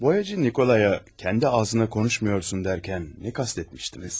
Boyacı Nikolaya "kendi ağzına konuşmuyorsun" dərkən nə kast etmişdiniz?